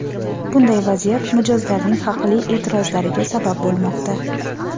Bunday vaziyat mijozlarning haqli e’tirozlariga sabab bo‘lmoqda.